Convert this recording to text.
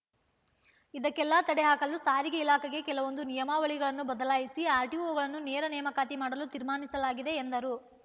ಇದಕ್ಕೆಲ್ಲಾ ತಡೆ ಹಾಕಲು ಸಾರಿಗೆ ಇಲಾಖೆಗೆ ಕೆಲವೊಂದು ನಿಯಮಾವಳಿಗಳನ್ನು ಬದಲಾಯಿಸಿ ಆರ್‌ಟಿಓಗಳನ್ನು ನೇರ ನೇಮಕಾತಿ ಮಾಡಲು ತೀರ್ಮಾನಿಸಲಾಗಿದೆ ಎಂದರು